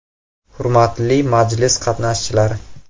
Hurmatli majlis qatnashchilari!